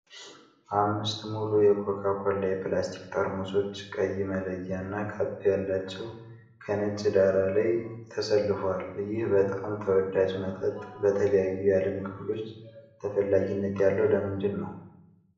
አምስት ሙሉ የኮካ ኮላ የፕላስቲክ ጠርሙሶች፣ ቀይ መለያና ካፕ ያላቸው፣ ከነጭ ዳራ ላይ ተሰልፈዋል። ይህ በጣም ተወዳጅ መጠጥ በተለያዩ የዓለም ክፍሎች ተፈላጊነት ያለው ለምንድን ነው?